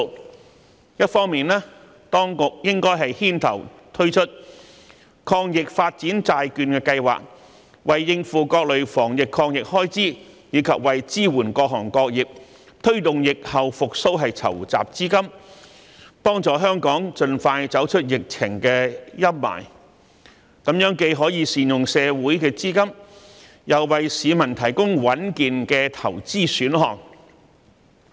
當局一方面應牽頭推出抗疫發展債券計劃，為應付各類防疫抗疫開支及支援各行各業推動疫後復蘇籌集資金，幫助香港盡快走出疫情陰霾，這既可善用社會資金，亦可為市民提供穩健的投資選項。